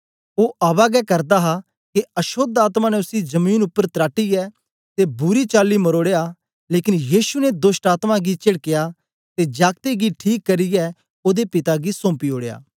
ओ आवा गै करा दा हा के अशोद्ध आत्मा ने उसी जमीन उपर तराटीयै ते बुरी चली मरोड़या लेकन यीशु ने दोष्टआत्मा गी चेडकीया ते जागते गी ठीक करियै ओदे पिता गी सौम्पी ओड़या